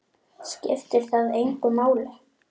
Skiptir það þig engu máli?